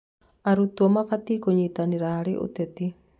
Arutwo mabatiĩ kũnyitanĩra harĩ ũteti.